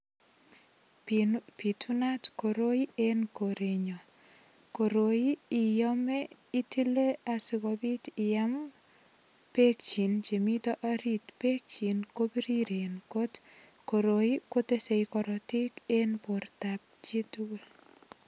Bitunat koroi eng korenyun, koroi iame itile asikobit iam bekchik chemiten orit, bekchik kobiriren, koroi kotesen karatik eng biretab chitukul.